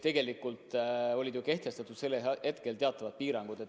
Tegelikult kehtisid siis ju teatavad piirangud.